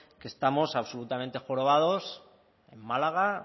que estamos absolutamente jorobados en málaga